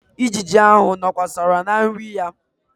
Ijiji ahụ nọkwasara na nri ya.